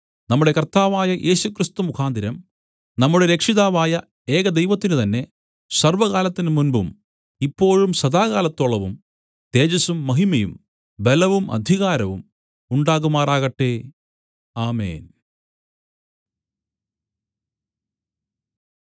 നമ്മുടെ കർത്താവായ യേശുക്രിസ്തു മുഖാന്തരം നമ്മുടെ രക്ഷിതാവായ ഏകദൈവത്തിനുതന്നെ സർവ്വകാലത്തിന് മുമ്പും ഇപ്പോഴും സദാകാലത്തോളവും തേജസ്സും മഹിമയും ബലവും അധികാരവും ഉണ്ടാകുമാറാകട്ടെ ആമേൻ